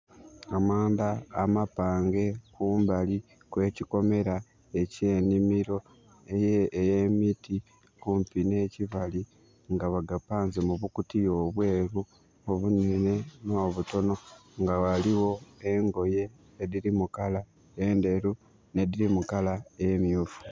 Amanda amapange kumbali kwekikomela ekye' nimiro eyemiti kumpi ne kibali nga bagapanze mu bukutiya obweru obunene no butono. Waliwo engoye ediri mu kala enderu ne diri mu kala emyufu